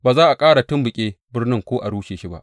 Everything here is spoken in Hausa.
Ba za a ƙara tumɓuke birnin ko a rushe shi ba.